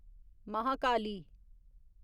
Mahakali